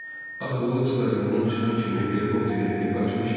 Axı o stadiondan çıxan kimi helikopterə minib qaçmışdı.